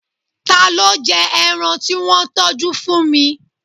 Ta ló jẹ ẹran tí wọ́n tọjú fún mi?